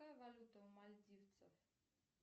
какая валюта у мальдивцев